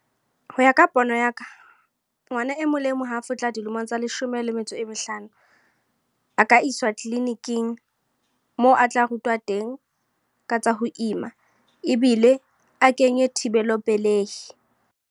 Ho ya ka pono ya ka. Ngwana e mong le e mong ha fihla dilemong tsa leshome le metso e mehlano. A ka iswa clinic-ing, moo a tla rutwa teng, ka tsa ho ima ebile a kenye thibelo pelehi.